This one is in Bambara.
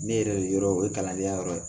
Ne yɛrɛ yɔrɔ o ye kalandenya yɔrɔ ye